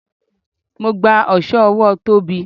Mo gba oso ọwọ Tóbi.